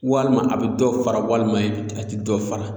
Walima a bɛ dɔ fara walima a tɛ dɔ fara